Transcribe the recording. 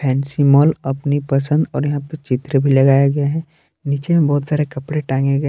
N C mall अपनी पसंद और यहां पर चित्र भी लगाया गया हैं नीचे में बहोत सारे कपड़े टांगे गए--